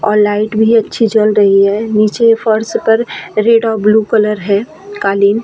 और लाइट भी अच्छी जल रही है नीचे फर्श पर रेड और ब्लू कलर है कालीन --